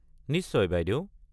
নিশ্চয় বাইদেউ।